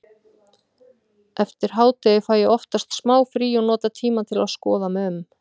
Eftir hádegið fæ ég oftast smá frí og nota tímann til að skoða mig um.